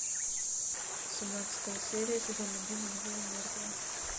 семнадцатая серия сезон один живые и мертвые